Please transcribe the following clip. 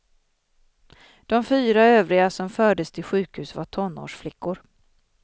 De fyra övriga som fördes till sjukhus var tonårsflickor.